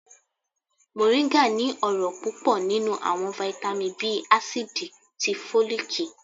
Moringa ní ọrọ pupọ ninú awọn vitamí bii acidí tí folikí.